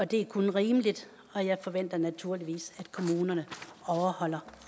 det er kun rimeligt og jeg forventer naturligvis at kommunerne overholder